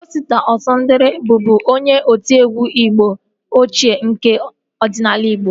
Osita Ọsadebe bụbu onye otiegwu mgbe ochie nke ọdịnala igbo